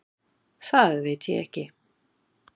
Það veit ég ekki.